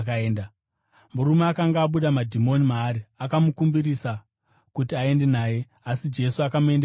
Murume akanga abuda madhimoni maari akamukumbirisa kuti aende naye, asi Jesu akamuendesa achiti,